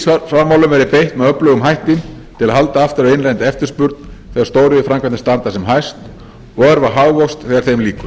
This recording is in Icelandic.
að ríkisfjármálunum verði beitt með öflugum hætti til að halda aftur af innlendri eftirspurn þegar stóriðjuframkvæmdir standa sem hæst og örva hagvöxt þegar þeim lýkur